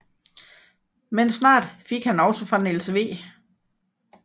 Men snart fik han også fra Niels W